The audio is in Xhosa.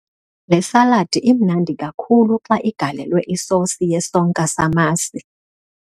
Le saladi imnandi kakhulu xa igalelwe isosi yesonka samasi.